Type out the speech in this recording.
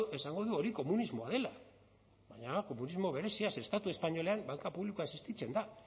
esango du hori komunismoa dela baina komunismo berezia ze estatu espainolean banka publikoa existitzen da